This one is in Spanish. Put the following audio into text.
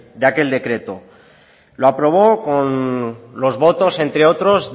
de aquel decreto lo aprobó con los votos entre otros